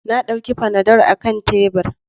Na dauki fanadol akan tebur.